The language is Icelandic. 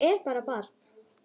Ég er bara barn.